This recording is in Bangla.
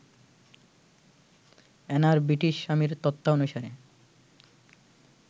অ্যানার ব্রিটিশ স্বামীর তথ্যানুসারে